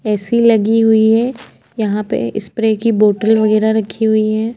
AC. लगी हुई है। यहाँ पे स्प्रे की बोटल वगेरा रखी हुई है।